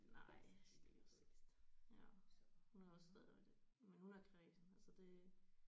Nej det er også det ja hun er også stadig det men hun er kræsen så det